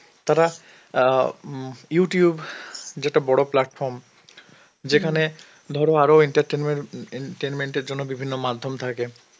তারা অ্যাঁ উম Youtube যেটা বড় platform, যেখানে ধরো আরো entertainment~ উম en-tenment এর জন্য বিভিন্ন মাধ্যম থাকে,